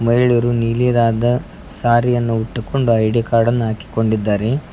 ಎಲ್ಲರು ನೀಲಿದಾದ ಸಾರಿಯನ್ನು ಉಟ್ಟುಕೊಂಡು ಐ ಡಿ ಕಾರ್ಡ್ ಅನ್ನ ಹಾಕಿ ಕೊಂಡಿದ್ದಾರೆ.